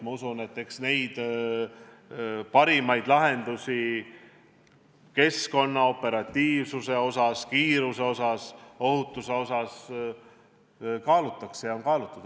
Ma usun, et eks neid parimaid lahendusi nii keskkonna, operatiivsuse, kiiruse kui ka ohutuse osas kaalutakse ja on kaalutud.